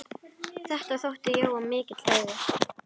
Þetta þótti Jóa mikill heiður.